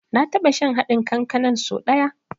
Na taɓa shan haɗin kankanan so da ɗaya.